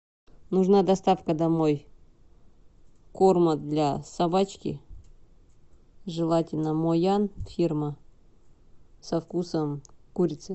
нужна доставка домой корма для собачки желательно моян фирма со вкусом курицы